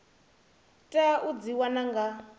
tea u dzi wana nga